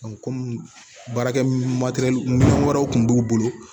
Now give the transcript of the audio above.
kɔmi baarakɛ ma deli wariw kun b'u bolo